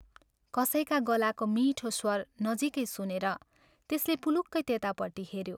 कसैका गलाको मीठो स्वर नजीकै सुनेर त्यसले पुलुकै त्यतापट्टि हेऱ्यो।